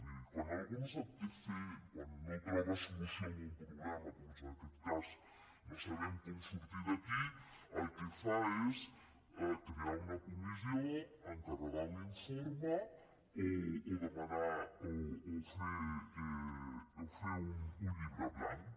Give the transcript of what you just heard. miri quan algú no sap què fer quan no troba solució en un problema com és en aquest cas no sabem com sortir d’aquí el que fa és crear una comissió encarregar un informe o fer un llibre blanc